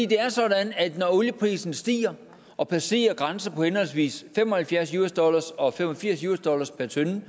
det er sådan at når olieprisen stiger og passerer en grænse på henholdsvis fem og halvfjerds dollar og fem og firs dollar per tønde